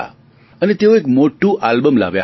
અને તેઓ એક મોટું આલ્બમ લાવ્યા હતા